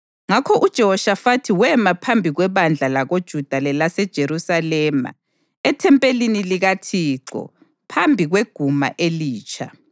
Ngakho uJehoshafathi wema phambi kwebandla lakoJuda lelaseJerusalema ethempelini likaThixo phambi kweguma elitsha